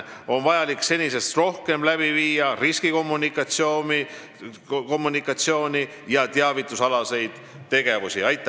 On vaja senisest rohkem riskikommunikatsiooni ja teavitustegevust.